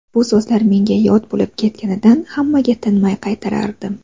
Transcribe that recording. Bu so‘zlar menga yod bo‘lib ketganidan hammaga tinmay qaytarardim.